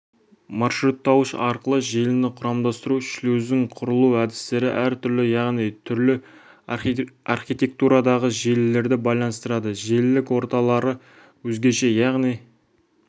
маршруттауыш арқылы желіні құрамдастыру шлюздің құрылу әдістері әр түрлі яғни түрлі архитектурадағы желілерді байланыстырады желілік орталары өзгеше яғни